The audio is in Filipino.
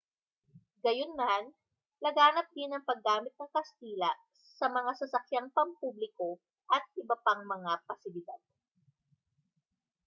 gayunman laganap din ang paggamit ng kastila sa mga sasakyang pampubliko at iba pang mga pasilidad